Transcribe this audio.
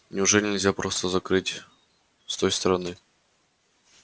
неужели нельзя просто закрыть с той стороны